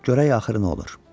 Görək axırı nə olur.